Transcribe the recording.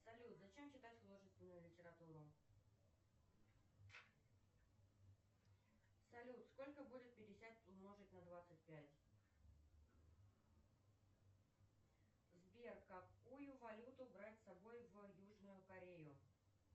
салют зачем читать художественную литературу салют сколько будет пятьдесят умножить на двадцать пять сбер какую валюту брать с собой в южную корею